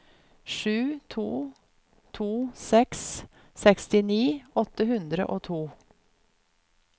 sju to to seks sekstini åtte hundre og to